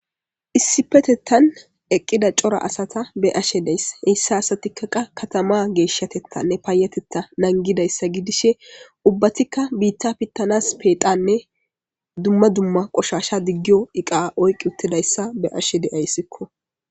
issipetettan eqqida cora asata beyashe days. heyssa asatikka qa katama geeshshatettanne paayateta nangidayssa gidishe ubbatikka biitta pittanas peeqanne dumma dumma qoshasha diggiyo iqa oyqi uttidayssa be ashe de'ayssikko